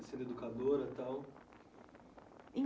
E também sendo educadora e tal?